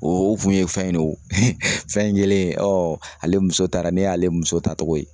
O kun ye fɛn ye o fɛn in kɛlen ale muso taara ne y'ale muso taacogo ye